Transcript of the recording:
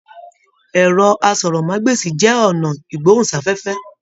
Ẹrọ àsọ̀rọ̀mágbèsi jẹ ọnà igbohunsafẹfẹ.